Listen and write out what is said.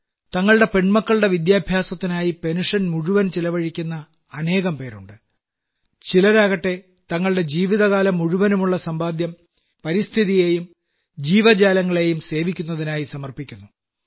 തങ്ങളുടെ പെൺമക്കളുടെ വിദ്യാഭ്യാസത്തിനായി പെൻഷൻ മുഴുവൻ ചിലവഴിക്കുന്ന അനേകംപേരുണ്ട് ചിലരാകട്ടെ തങ്ങളുടെ ജീവിതകാലം മുഴുവനുമുള്ള സമ്പാദ്യം പരിസ്ഥിതിയേയും ജീവജാലങ്ങളെയും സേവിക്കുന്നതിനായി സമർപ്പിക്കുന്നു